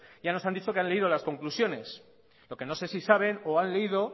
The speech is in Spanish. ya nos han dicho que han leído las conclusiones lo que no se si saben o han leído